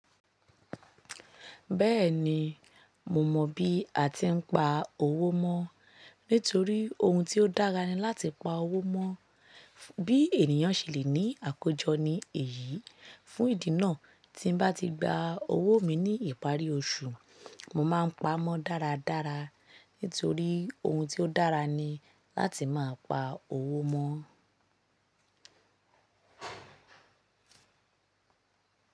Bẹ́ẹ̀ni, mo mọ̀ bí a ti ń pa owó mọ́, nítorí ohun ti ó dára ni láti pa owó mọ́. Bí ènìyàn ṣe lè ní àkójọ ní èyí fún ìdí náà tí n bá ti gba owó mi ní ìparí oṣù, mo máa ń pa mọ́ dáradára nítorí ohun ti ó dára ni láti máa pa owó mọ́